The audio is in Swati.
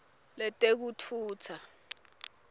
letekutfutsa